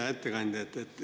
Hea ettekandja!